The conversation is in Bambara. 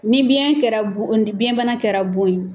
Ni biyɛn kɛra bon on di biyɛn bana kɛra bon ye